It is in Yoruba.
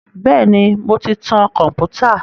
Bẹ́ẹ̀ ni, mò ń ti tan kọ̀m̀pútà.